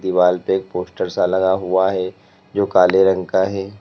दीवाल पे एक पोस्टर सा लगा हुआ है जो काले रंग का है।